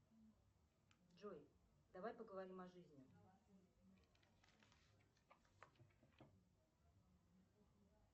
джой давай поговорим о жизни